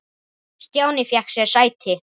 Stjáni fékk sér sæti.